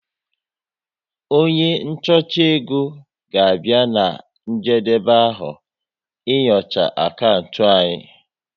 Onye nchọcha égo ga-abịa na njedebe afọ, ị nyocha akantị anyi